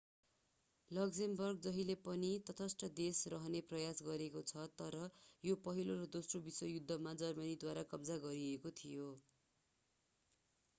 लक्जेमबर्गले जहिले पनि तटस्थ देश रहने प्रयास गरेको छ तर यो पहिलो र दोस्रो विश्वयुद्धमा जर्मनीद्वारा कब्जा गरिएको थियो